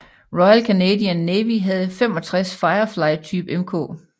Royal Canadian Navy havde 65 Firefly type Mk